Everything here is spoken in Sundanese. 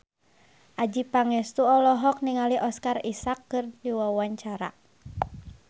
Adjie Pangestu olohok ningali Oscar Isaac keur diwawancara